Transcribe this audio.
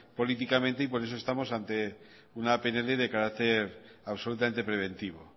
políticamente por eso estamos ante una pnl de carácter absolutamente preventivo